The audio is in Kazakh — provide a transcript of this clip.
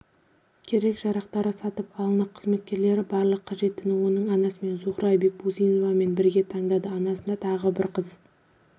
керек-жарақтары сатып алынды қызметкерлері барлық қажеттіні оның анасымен зухра бекбусиновамен бірге таңдады анасында тағы қызы